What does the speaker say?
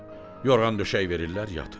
Yorğan döşək verirlər, yatır.